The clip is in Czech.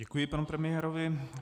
Děkuji panu premiérovi.